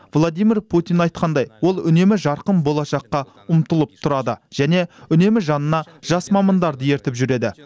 владимир путин айтқандай ол үнемі жарқын болашаққа ұмтылып тұрады және үнемі жанына жас мамандарды ертіп жүреді